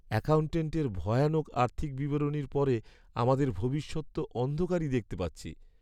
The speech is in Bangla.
অ্যাকাউন্ট্যান্টের ভয়ানক আর্থিক বিবরণীর পরে আমাদের ভবিষ্যৎ তো অন্ধকারই দেখতে পাচ্ছি।